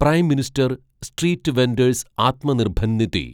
prime minister street vendors Atmanirbhar Nidhi